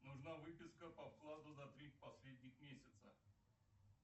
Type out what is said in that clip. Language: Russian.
нужна выписка по вкладу за три последних месяца